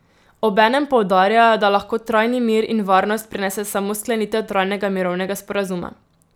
Obenem poudarjajo, da lahko trajni mir in varnost prinese samo sklenitev trajnega mirovnega sporazuma.